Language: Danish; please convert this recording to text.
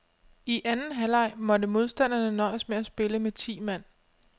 I anden halvleg måtte modstanderne nøjes med at spille med ti mand.